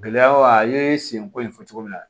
Gɛlɛyaw a ye sen ko in fɔ cogo min na